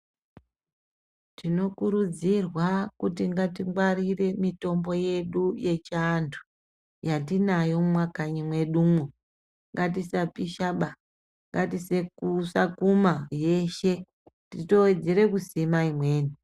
Tinokurudzirwa kuti ngatingwarire mitombo yedu yechiantu yatinayo mumakanyi mwedumwo. Ngatisapishaba, ngatisesakuma yeshe titowedzere kusima imweni.